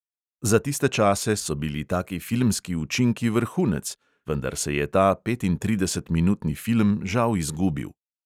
Za tiste čase so bili taki filmski učinki vrhunec, vendar se je ta petintridesetminutni film žal izgubil.